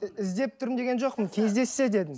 іздеп тұрмын деген жоқпын кездессе дедім